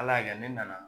Ala y'a kɛ ne nana